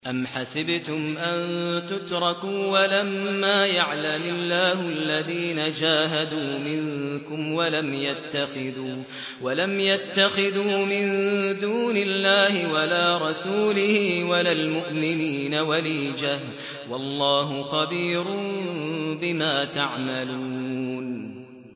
أَمْ حَسِبْتُمْ أَن تُتْرَكُوا وَلَمَّا يَعْلَمِ اللَّهُ الَّذِينَ جَاهَدُوا مِنكُمْ وَلَمْ يَتَّخِذُوا مِن دُونِ اللَّهِ وَلَا رَسُولِهِ وَلَا الْمُؤْمِنِينَ وَلِيجَةً ۚ وَاللَّهُ خَبِيرٌ بِمَا تَعْمَلُونَ